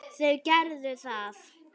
Þau gerðu það.